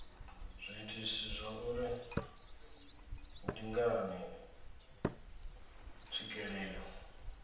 zwiitisi zwauri ndi ngani tswikelelo